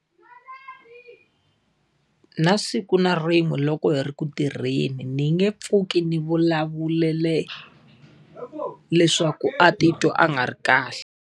Na siku na rin'we loko hi ri ku tirheni ni nge pfuki ni vulavulele leswaku a titwa a nga ri kahle.